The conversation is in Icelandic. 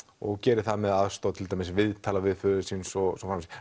og gerir það með aðstoð til dæmis viðtala við föður síns og svo